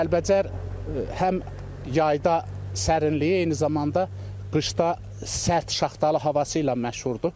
Kəlbəcər həm yayda sərinliyi, eyni zamanda qışda sərt şaxtalı havası ilə məşhurdur.